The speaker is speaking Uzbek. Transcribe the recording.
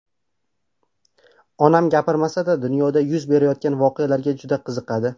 Onam gapirmasa-da dunyoda yuz berayotgan voqealarga juda qiziqadi.